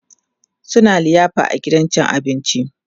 suna liyafa a gidan cin abinci